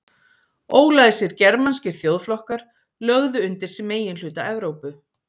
Ólæsir germanskir þjóðflokkar lögðu undir sig meginhluta Evrópu.